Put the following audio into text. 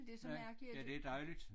Ja ja det er dejligt